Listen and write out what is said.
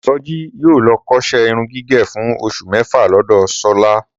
Sọjí yóò lọ kóṣẹ́ irun gígẹ̀ fún oṣù mẹ́fà lọ́dọ̀ Ṣọlá